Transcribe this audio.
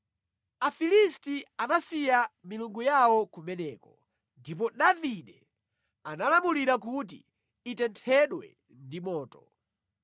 Afilisti anasiya milungu yawo kumeneko ndipo Davide analamulira kuti itenthedwe ndi moto.